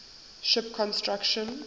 ship construction